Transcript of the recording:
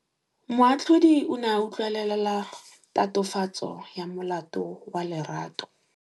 Moatlhodi o ne a utlwelela tatofatsô ya molato wa Lerato.